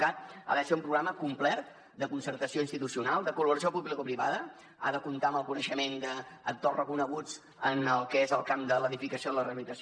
cat ha de ser un programa complet de concertació institucional de col·laboració publicoprivada ha de comptar amb el coneixement d’actors reconeguts en el que és el camp de l’edificació i la rehabilitació